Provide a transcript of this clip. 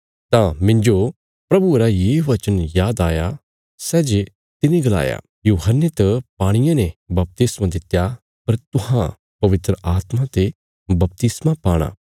तां मिन्जो प्रभुये रा ये वचन याद आया सै जे तिने गलाया यूहन्ने त पाणिये ने बपतिस्मा दित्या पर तुहां पवित्र आत्मा ते बपतिस्मा पाणा